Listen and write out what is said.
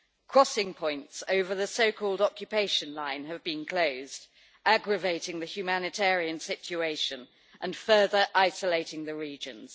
Crossing points over the so called occupation line have been closed, aggravating the humanitarian situation and further isolating the regions.